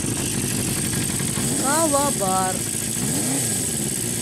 калабар